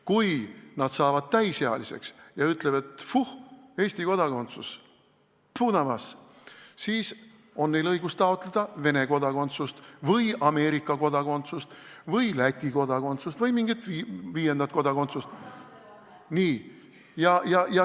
Kui nad saavad täisealiseks ja ütlevad, et vuih, Eesti kodakondsus, fu na vas, siis on neil õigus taotleda Vene kodakondsust või Ameerika kodakondsust või Läti kodakondsust või mingit viiendat kodakondsust.